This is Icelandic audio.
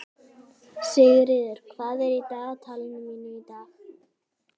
Sigurður, hvað er í dagatalinu mínu í dag?